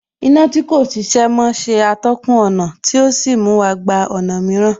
Iná tí kò ṣiṣẹ́ mọ́ ṣe atọ́kùn ọ̀nà tí ò sí mú wa gba ọ̀nà mìíràn